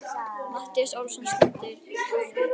Matthías Ólafsson stendur og er að flytja ræðu.